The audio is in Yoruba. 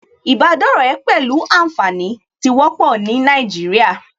Ìbádọ́rẹ̀ẹ́ pẹ̀lú ànfàní tí wọ́pọ̀ ní Nàìjíríà